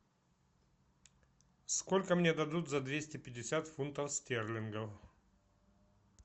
сколько мне дадут за двести пятьдесят фунтов стерлингов